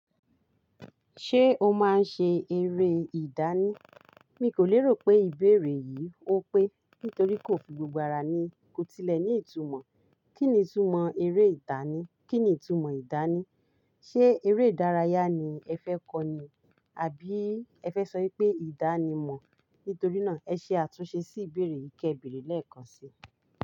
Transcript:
Ṣé o máa ń ṣe eré ìdánì? Mi kò lérò pé ìbéèrè yìí ó pé, nítorí kò fi gbogbo ara ní ko tilẹ̀ ní ìtumọ̀. Kí ni ìtumọ̀ eré ìdánì? Kí ni ìtumọ̀ ìdánì? Ṣé eré ìdárayá ni ẹ fẹ́ kọ́ ni? Àbí ẹ fẹ́ sọ pé ìdánimọ̀? Nítorí náà, ẹ ṣe àtúnṣe sí ìbéèrè yìí kébere lẹ́ẹ̀kan si.